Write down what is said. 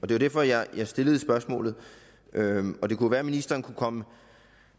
det var derfor jeg stillede spørgsmålet og det kunne være at ministeren kunne komme